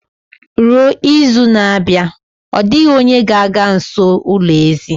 Ruo izu na-abịa, ọ dịghị onye ga-aga nso ulo ezì